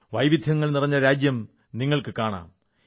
വൈവിധ്യങ്ങൾ നിറഞ്ഞ രാജ്യം നിങ്ങൾക്കു കാണാം